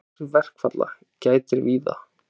Áhrifa verkfalla gætir víða